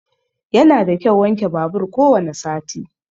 Yana da kyau wanke babur ko wani sati.